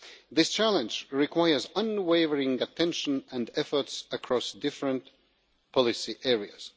This challenge requires unwavering attention and efforts across different policy areas.